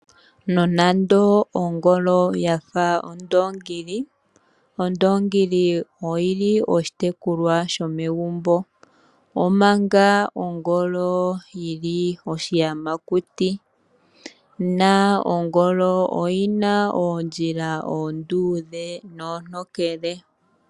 Nonande ongolo oya fa ondoongi, Ondoongi oyi li onga oshitekulwanamwenyo. Ongolo oyo oshiyamakuti na oyi na oondjila oonduudhe noontokele.